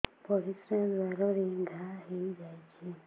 ପରିଶ୍ରା ଦ୍ୱାର ରେ ଘା ହେଇଯାଇଛି